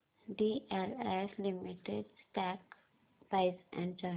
DLF limited stock price and chart